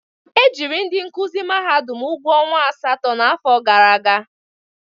E jiri ndị nkụzi mahadum ụgwọ ọnwa asatọ n'afọ gara aga.